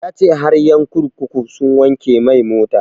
Ya ce har ƴan kurkuku sun wanke mai mota